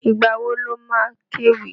Ìgbà wo lo má kéwì?